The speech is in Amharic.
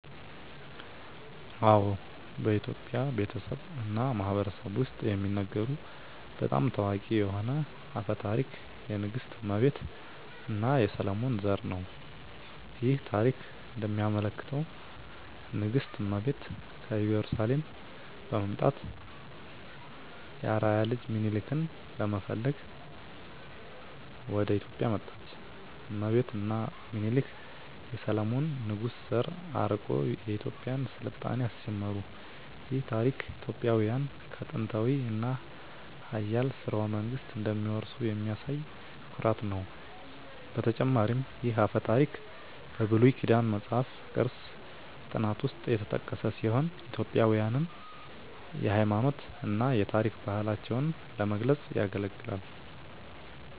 አዎ፣ በኢትዮጵያ ቤተሰብ እና ማህበረሰብ ውስጥ የሚነገሩ በጣም ታዋቂ የሆነ አፈ ታሪክ የንግሥት እመቤት እና የሰሎሞን ዘር ነው። ይህ ታሪክ እንደሚያመለክተው ንግሥት እመቤት ከኢየሩሳሌም በመምጣት የአርአያ ልጅ ሚኒሊክን ለመፈለግ ወደ ኢትዮጵያ መጣች። እመቤት እና ሚኒሊክ የሰሎሞን ንጉሥ ዘር አርቆ የኢትዮጵያን ሥልጣኔ አስጀመሩ። ይህ ታሪክ ኢትዮጵያውያን ከጥንታዊ እና ኃያል ሥርወ መንግሥት እንደሚወርሱ የሚያሳይ ኩራት ነው። በተጨማሪም ይህ አፈ ታሪክ በብሉይ ኪዳን መጽሐፍ ቅዱስ ጥናት ውስጥ የተጠቀሰ ሲሆን ኢትዮጵያውያንን የሃይማኖት እና የታሪክ ባህላቸውን ለመግለጽ ያገለግላል።